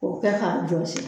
K'o kɛ k'a jɔsi